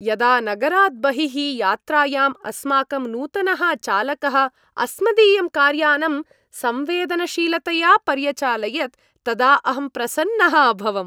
यदा नगरात् बहिः यात्रायाम् अस्माकं नूतनः चालकः अस्मदीयं कार्यानं संवेदनशीलतया पर्यचालयत् तदा अहं प्रसन्नः अभवम्।